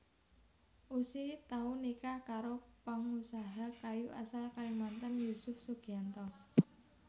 Ussy tau nikah karo pangusaha kayu asal Kalimantan Yusuf Sugianto